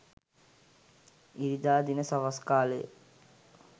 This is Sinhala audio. ඉරිදා දින සවස් කාළයේ